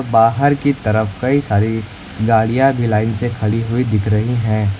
बाहर की तरफ कई सारी गाड़ियां भी लाइन से खड़ी हुई दिख रही है।